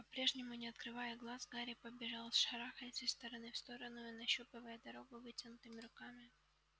по-прежнему не открывая глаз гарри побежал шарахаясь из стороны в сторону и нащупывая дорогу вытянутыми руками